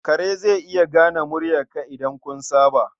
Kare zai iya gane muryarka idan kun saba.